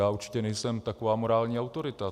Já určitě nejsem taková morální autorita.